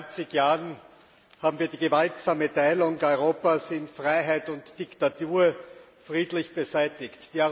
Vor zwanzig Jahren haben wir die gewaltsame Teilung Europas in Freiheit und Diktatur friedlich beseitigt.